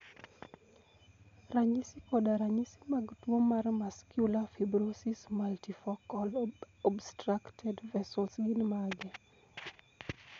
Ranyisi koda ranyisi mag tuo mar Muscular fibrosis multifocal obstructed vessels gin mage?